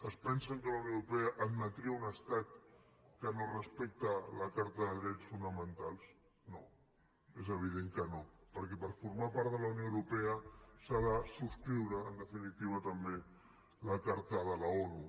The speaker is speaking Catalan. es pensen que la unió europea admetria un estat que no respecta la carta de drets fonamentals no és evident que no perquè per formar part de la unió europea s’ha de subscriure en definitiva també la carta de l’onu